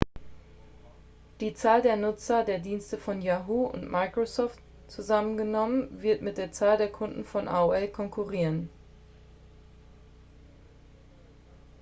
die zahl der nutzer der dienste von yahoo und microsoft zusammengenommen wird mit der zahl der kunden von aol konkurrieren